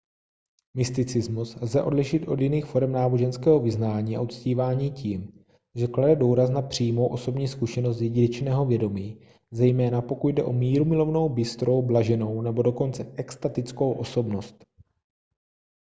mysticismus lze odlišit od jiných forem náboženského vyznání a uctívání tím že klade důraz na přímou osobní zkušenost jedinečného vědomí zejména pokud jde o mírumilovnou bystrou blaženou nebo dokonce extatickou osobnost